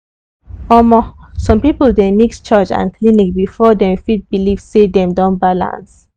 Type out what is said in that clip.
omo some people dey mix church and clinic before dem fit believe say dem don balance.